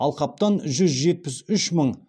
алқаптан жүз жетпіс үш мың